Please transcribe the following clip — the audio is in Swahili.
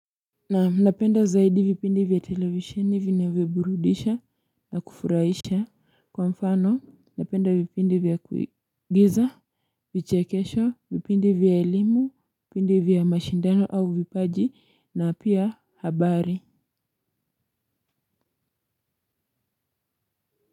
Na napenda zaidi vipindi vya televisheni vinavyoburudisha na kufurahisha kwa mfano napenda vipindi vya kuigiza vichekesho vipindi vya elimu vipindi vya mashindano au vipaji na pia habari.